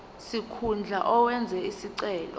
sikhundla owenze isicelo